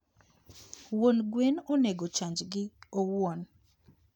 Wuon gwen onego chanjgi owuon